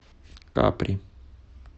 капри